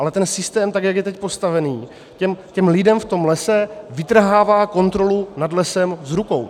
Ale ten systém, tak jak je teď postavený, těm lidem v tom lese vytrhává kontrolu nad lesem z rukou.